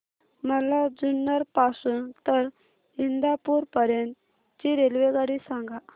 मला जुन्नर पासून तर इंदापूर पर्यंत ची रेल्वेगाडी सांगा